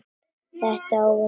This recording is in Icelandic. Þessa óvæntu för.